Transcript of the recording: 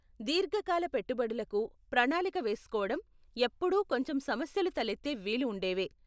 దీర్ఘకాల పెట్టుబడులకు ప్రణాళిక వేసుకోవటం ఎప్పుడూ కొంచెం సమస్యలు తలెత్తే వీలు ఉండేవే.